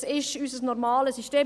Dies ist unser normales System.